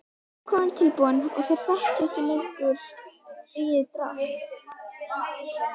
Þá verður kofinn tilbúinn og þeir þekkja ekki lengur draslið.